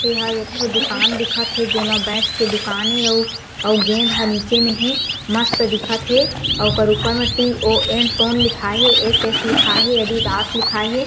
एहा एक ठो दुकान दिखत हे जे मा बैट के दुकान ए अऊ अऊ गेंद हा नीचे म हे मस्त दिखत हे अउ ओकर ऊपर में टी_ओ_न टोन लिखाये हें एस_एस लिखाये हें अद्दिदास लिखाये हें।